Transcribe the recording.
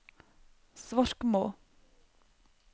Svorkmo